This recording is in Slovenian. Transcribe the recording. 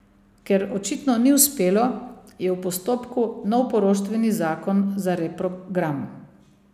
Ker očitno ni uspelo, je v postopku nov poroštveni zakon za reprogram.